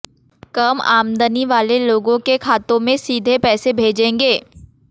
कम आमदनी वाले लोगों के खातों में सीधे पैसे भेजेंगे